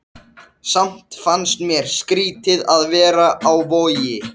Ástandið um borð í kafbátnum var heldur bágborið.